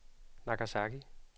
Nagasaki